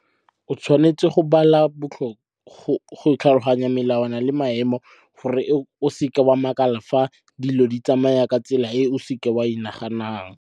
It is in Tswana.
O tshwanetse go tlhaloganya melawana le maemo gore o seke wa makala fa dilo di tsamaya ka tsela e o seke wa e naganang.